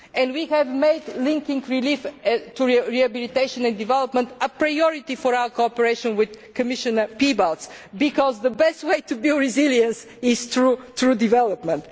We have made linking relief to rehabilitation and development a priority for our cooperation with Commissioner Piebalgs because the best way to build resilience is through development.